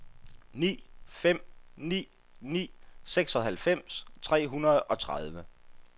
ni fem ni ni seksoghalvfems tre hundrede og tredive